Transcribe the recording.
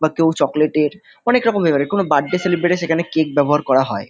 বা কেউ চকলেট -এর অনেক রকম হয় কোন বার্থডে সেলিব্রেট -এ সেখানে কেক ব্যবহার করা হয়।